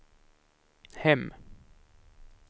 hem